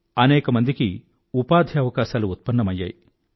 అనేకమందికి ఉపాధి అవకాశాలు ఉత్పన్నమయ్యాయి